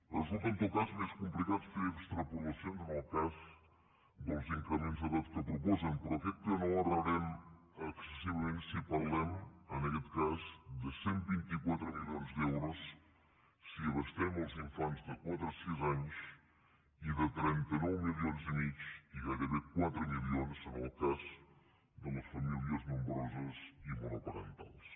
resulta en tot cas més complicat fer extrapolacions en el cas dels increments d’edat que proposen però crec que no errarem excessivament si parlem en aquest cas de cent i vint quatre milions d’euros si abastem els infants de quatre a sis anys i de trenta nou milions i mig i gairebé quatre mi lions en el cas de les famílies nombroses i monoparentals